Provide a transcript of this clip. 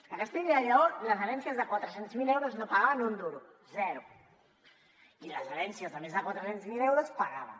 a castella i lleó les herències de quatre cents miler euros no pagaven un duro zero i les herències de més de quatre cents miler euros pagaven